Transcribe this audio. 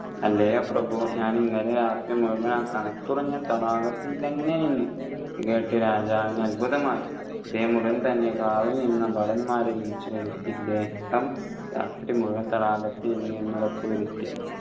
അല്ലയോ പ്രഭു ഞാൻ ഇന്നലെ രാത്രി മുഴുവൻ ആ തണുപ്പുറഞ്ഞ തടാകത്തിൽ തന്നെ നിന്നു ഇതു കേട്ടു രാജാവിന് അത്ഭുതമായി അദ്ദേഹം ഉടൻ തന്നെ കാവൽ നിന്ന ഭടന്മാരെ വിളിച്ചുവരുത്തി ഇദ്ദേഹം രാത്രി മുഴുവൻ തടാകത്തിൽ നിന്നുവെന്നു ഉറപ്പ് വരുത്തി